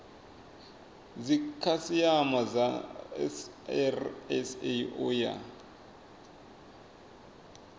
dzikhasiama dza srsa u ya